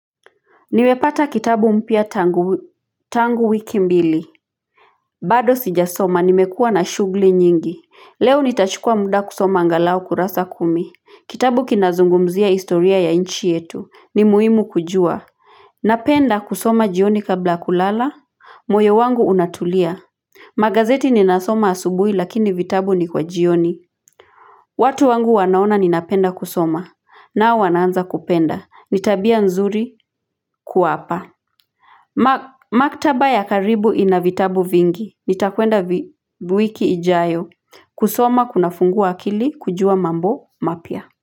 Nimepata kitabu mpya tangu tangu wiki mbili bado sijasoma nimekuwa na shugli nyingi leo nitachukua muda kusoma angalau kurasa kumi kitabu kinazungumzia historia ya nchi yetu ni muhimu kujua napenda kusoma jioni kabla kulala moyo wangu unatulia magazeti ninasoma asubuhi lakini vitabu ni kwa jioni watu wangu wanaona ninapenda kusoma nao wanaanza kupenda ni tabia nzuri kuwa hapa Maktaba ya karibu ina vitabu vingi. Nitakwenda wiki ijayo. Kusoma kuna fungua akili kujua mambo mapya.